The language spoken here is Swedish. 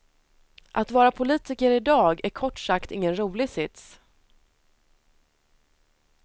Att vara politiker idag är kort sagt ingen rolig sits.